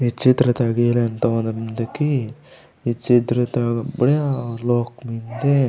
इ चित्र ता तोंद मेन्दे की इ चित्र ता बुड़ीया लोक मेन्दे।